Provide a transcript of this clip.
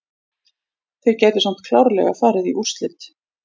Þeir gætu samt klárlega farið í úrslit.